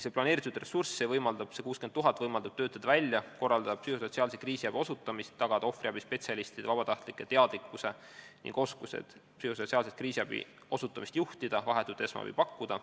See planeeritud ressurss, see 60 000 eurot võimaldab korraldada psühhosotsiaalse kriisiabi osutamist, tagada ohvriabi spetsialistide ja vabatahtlike teadmised ning oskused sellise kriisiabi osutamist juhtida ja vahetut esmaabi pakkuda.